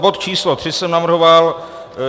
Bod č. 3 jsem navrhoval.